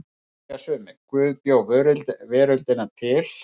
Þá segja sumir: Guð bjó veröldina til.